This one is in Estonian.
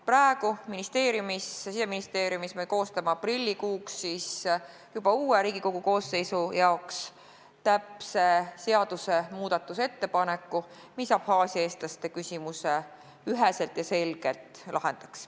Praegu me Siseministeeriumis koostame aprillikuuks, juba uue Riigikogu koosseisu jaoks täpse seadusmuudatuse ettepanekut, mis Abhaasia eestlaste küsimuse üheselt ja selgelt lahendaks.